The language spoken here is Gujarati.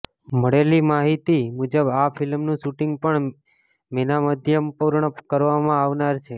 મળેલી માહિતી મુજબ આ ફિલ્મનુ શુટિંગ પણ મેના મધ્યમાં પૂર્ણ કરવામાં આવનાર છે